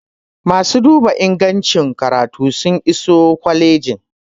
masu duba ingancin karatu sun iso kwalijin